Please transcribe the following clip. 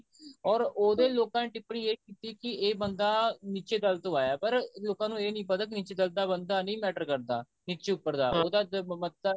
or ਉਹਦੇ ਲੋਕਾਂ ਦੇ ਟਿੱਪਣੀ ਇਹ ਕੀਤੀ ਇਹ ਬੰਦਾ ਨਿੱਚੇ ਦਲ ਤੋਂ ਆਇਆ ਪਰ ਲੋਕਾਂ ਨੂੰ ਇਹ ਨਹੀਂ ਪਤਾ ਕਿ ਨਿੱਚੇ ਦਲ ਬੰਦਾ matter ਨਹੀਂ ਕਰਦਾ ਨਿੱਚੇ ਉੱਪਰ ਦਾ ਉਹਦਾ ਮਤਾ